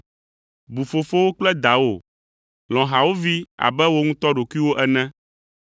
bu fofowò kple dawò; lɔ̃ hawòvi abe wò ŋutɔ ɖokuiwò ene!”